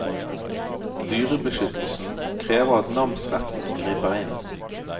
Dyrebeskyttelsen krever at namsretten griper inn.